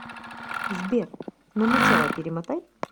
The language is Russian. сбер на начало перемотай